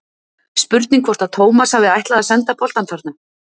Spurning hvort að Tómas hafi ætlað að senda boltann þarna?